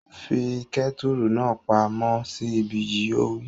Fi kẹ́tùrù náà pa món sí ibí yìí! Ó wí